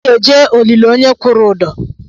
Anaghị eje olili onye kwụrụ ụdọ.